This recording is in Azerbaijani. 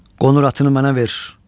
Qonur atını mənə ver.